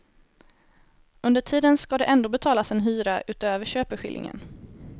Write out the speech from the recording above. Under tiden skall det ändå betalas en hyra utöver köpeskillingen.